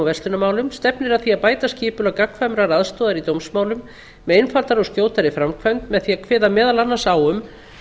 verslunarmálum stefnir að því að bæta skipulag gagnkvæmrar aðstoðar í dómsmálum með einfaldari og skjótari framkvæmd með því að kveða meðal annars á um